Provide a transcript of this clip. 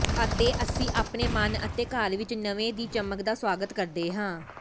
ਅਤੇ ਅਸੀਂ ਆਪਣੇ ਮਨ ਅਤੇ ਘਰ ਵਿਚ ਨਵੇਂ ਦੀ ਚਮਕ ਦਾ ਸਵਾਗਤ ਕਰਦੇ ਹਾਂ